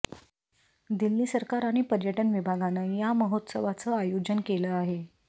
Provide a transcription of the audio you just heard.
दिल्ली सरकार आणि पर्यटन विभागानं या महोत्सवाचं आयोजन केलं आहे